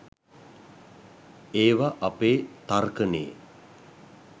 ඒව අපේ තර්කනේ